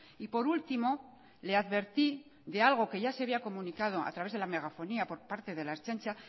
y por último le advertí de algo que ya se había comunicado a través de la megafonía por parte de la ertzaintza